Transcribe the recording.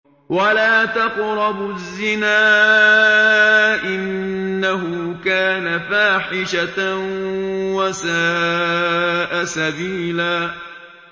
وَلَا تَقْرَبُوا الزِّنَا ۖ إِنَّهُ كَانَ فَاحِشَةً وَسَاءَ سَبِيلًا